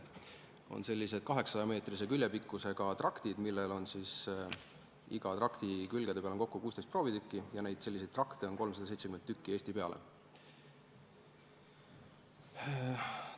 On sellised 800-meetrise küljepikkusega traktid, iga trakti külgede peal on 16 proovitükki ja selliseid trakte on Eesti peale kokku 370.